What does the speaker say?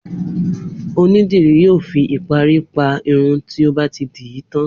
Onídìrí yòó fi ìparí pa irun tí ó bá ti dì í tán.